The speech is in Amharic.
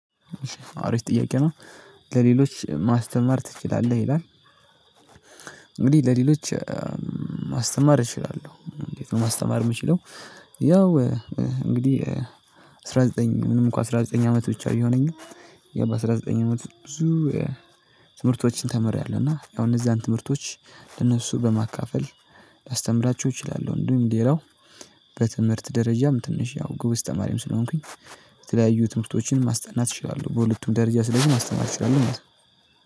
አሪፍ ጥያቄ ነው ለሌሎች ማስተማር ትችላለህ ይላል? እንግዲህ ለሌሎች ማስተማር እችላለሁ እንዴት ነው ማስተማር የምችለው። ያው እንግዲህ አስራ ዘጠኝ ምንም እኮ አስራ ዘጠኝ አመት ብቻ ቢሆነኝ ያባ አስራ ዘጠኝ አመት ብዙ ትምህርቶችን ተምረያለሁ እና ያው እነዛን ትምህርቶች ለነሱ በማካፈል ላስተምራቸው እችላለሁ። እንደውም ሌላው በትምህርት ደረጃም ትንሽ ያው ግብስ ተማሪም ስለሆንኩኝ የተለያዩ ትምህርቶችን ማስጠናት እችላለሁ። በሁለቱም ደረጃ ስለዚህ ማስጠናት እችላለሁ ማለት ነው።